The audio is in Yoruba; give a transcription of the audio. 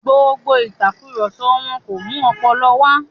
Gbogbo ìtàkurọ̀sọ wọn kò mú ọpọlọ wà.